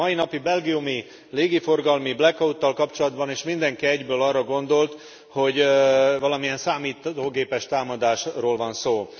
A mai napi belgiumi légiforgalmi black out tal kapcsolatban is mindenki egyből arra gondolt, hogy valamilyen számítógépes támadásról van szó.